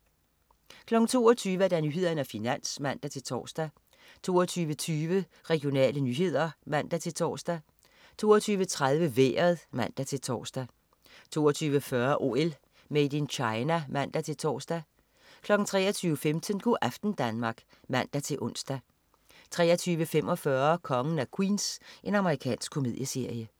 22.00 Nyhederne og Finans (man-tors) 22.20 Regionale nyheder (man-tors) 22.30 Vejret (man-tors) 22.40 OL: Made in China (man-tors) 23.15 Go' aften Danmark (man-ons) 23.45 Kongen af Queens. Amerikansk komedieserie